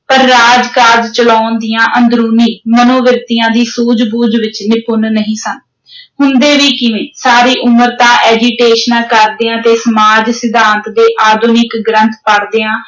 ਪਰ ਰਾਜ-ਕਾਜ ਚਲਾਉਣ ਦੀਆਂ ਅੰਦਰੂਨੀ ਮਨੋਵ੍ਰਿਤੀਆਂ ਦੀ ਸੂਝ-ਬੂਝ ਵਿਚ ਨਿਪੁੰਨ ਨਹੀਂ ਸਨ ਹੁੰਦੇ ਵੀ ਕਿਵੇਂ, ਸਾਰੀ ਉਮਰ ਤਾਂ ਐਜੀਟੇਸ਼ਨਾਂ ਕਰਦਿਆਂ ਤੇ ਸਮਾਜਸਿਧਾਂਤ ਦੇ ਆਧੁਨਿਕ ਗ੍ਰੰਥ ਪੜ੍ਹਦਿਆਂ